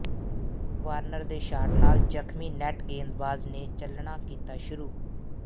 Warner ਦੇ shot ਨਾਲ ਜ਼ਖਮੀ ਨੈੱਟ ਗੇਂਦਾਬਾਜ਼ ਨੇ ਚੱਲਣਾ ਕੀਤਾ ਸ਼ੁਰੂ